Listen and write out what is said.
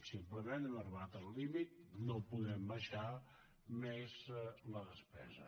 simplement hem arribat al límit no podem baixar més la despesa